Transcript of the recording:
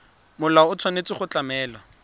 molao o tshwanetse go tlamela